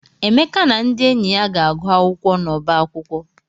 Emeka na ndị enyi ya ga-agụ akwụkwọ n'ọba akwụkwọ.